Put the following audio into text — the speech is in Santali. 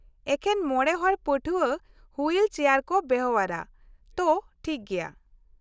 ᱮᱠᱷᱮᱱ ᱢᱚᱬᱮ ᱦᱚᱲ ᱯᱟᱹᱴᱷᱣᱟᱹ ᱦᱩᱭᱤᱞ ᱪᱮᱭᱟᱨ ᱠᱚ ᱵᱮᱣᱦᱟᱨᱼᱟ, ᱛᱚ, ᱴᱷᱤᱠ ᱜᱮᱭᱟ ᱾